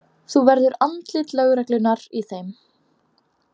Þú verður andlit lögreglunnar í þeim.